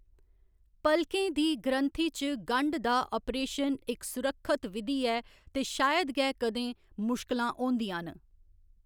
पलकें दी ग्रंथि च गंड दा अपरेशन इक सुरक्खत विधि ऐ ते शायद गै कदें मुश्कलां होंदियां न।